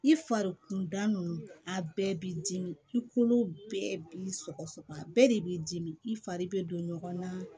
I fari kunda nunnu a bɛɛ b'i dimi i kolo bɛɛ b'i sɔgɔ sɔgɔ a bɛɛ de b'i dimi i fari bɛ don ɲɔgɔn na